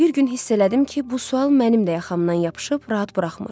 Bir gün hiss elədim ki, bu sual mənim də yaxamdan yapışıb, rahat buraxmır.